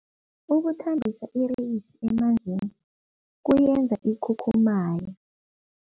Ukuthambisa ireyisi emanzini kuyenza ikhukhumaye.